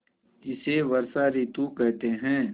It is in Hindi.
इसे वर्षा ॠतु कहते हैं